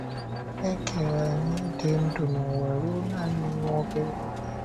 È kere anyị ịdị ndụ n’ụwa ruo nanị nwa obere oge?